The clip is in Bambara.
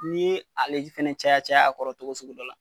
N'i ye ale ji fɛnɛ caya caya a kɔrɔ togo sugu dɔ la